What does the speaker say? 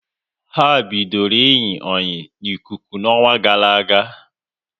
Ha bidoro iyi oyi n'ikuku n'ọnwa gara aga